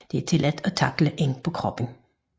Det er tilladt at tackle ind på kroppen